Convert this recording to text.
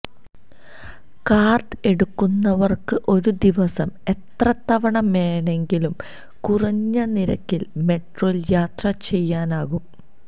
card എടുക്കുന്നവർക്ക് ഒരു ദിവസം എത്ര തവണ വേണമെങ്കിലും കുറഞ്ഞ നിരക്കിൽ മെട്രോയിൽ യാത്ര ചെയ്യാനാകും